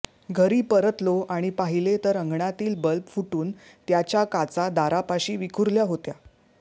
घरी परतलो आणि पाहिले तर अंगणातील बल्ब फुटून त्याच्या काचा दारापाशी विखुरल्या होत्या